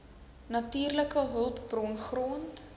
natuurlike hulpbron grond